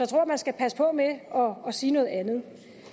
tror man skal passe på med at sige noget andet